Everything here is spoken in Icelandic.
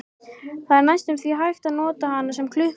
Það var næstum því hægt að nota hana sem klukku.